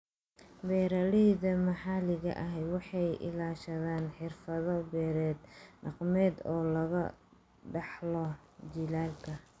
Beeralayda maxalliga ahi waxay ilaashadaan xirfado-beereed dhaqameed oo laga dhaxlo jiilalka.